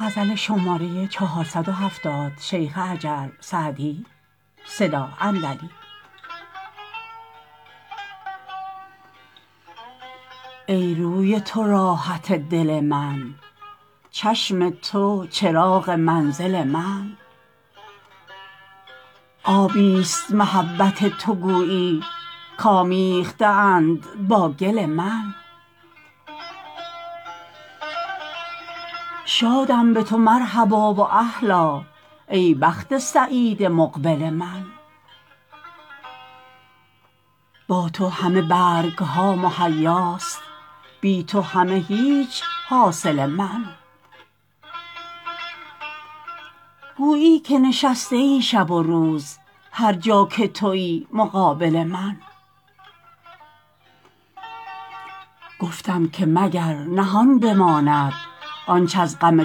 ای روی تو راحت دل من چشم تو چراغ منزل من آبی ست محبت تو گویی کآمیخته اند با گل من شادم به تو مرحبا و اهلا ای بخت سعید مقبل من با تو همه برگ ها مهیاست بی تو همه هیچ حاصل من گویی که نشسته ای شب و روز هر جا که تویی مقابل من گفتم که مگر نهان بماند آنچ از غم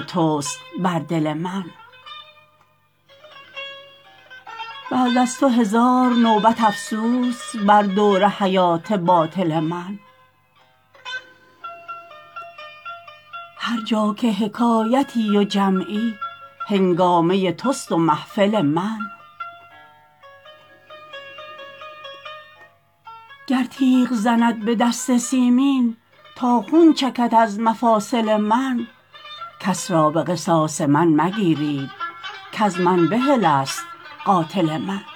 توست بر دل من بعد از تو هزار نوبت افسوس بر دور حیات باطل من هر جا که حکایتی و جمعی هنگامه توست و محفل من گر تیغ زند به دست سیمین تا خون چکد از مفاصل من کس را به قصاص من مگیرید کز من بحل است قاتل من